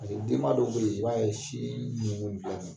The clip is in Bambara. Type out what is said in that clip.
denba dɔw be ye i b'a ye siin nuŋu bɛɛ ma